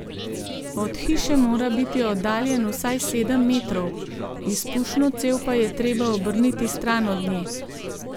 Od hiše mora biti oddaljen vsaj sedem metrov, izpušno cev pa je treba obrniti stran od nje.